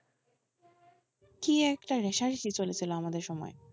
কি একটা রেশারেশি চলেছিল আমাদের সময়ে,